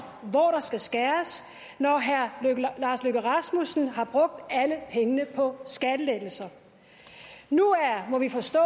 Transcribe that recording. hvor der skal skæres når herre lars løkke rasmussen har brugt alle pengene på skattelettelser nu må vi forstå